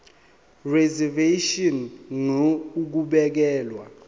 reservation ngur ukubekelwa